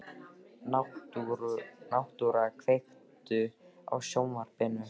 Náttúra, kveiktu á sjónvarpinu.